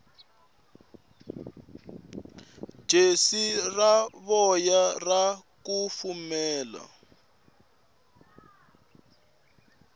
jesi ra voya ra kufumela